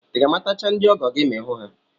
I ga-amatacha ndị ọgọ gị ma ị hụ ha?